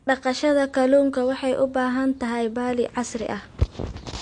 Dhaqashada kalluunka waxay u baahan tahay balli casri ah.